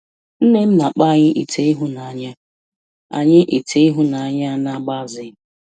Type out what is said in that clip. Nne m na-akpọ anyị ite ịhụnanya anyị ite ịhụnanya ya na-agbaze.